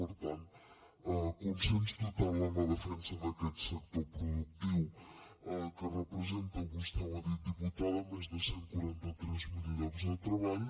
per tant consens total en la defensa d’aquest sector productiu que representa vostè ho ha dit diputada més de cent i quaranta tres mil llocs de treball